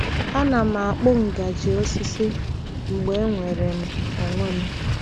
Ana m akpụ ngaji osisi mgbe enwere m onwe m.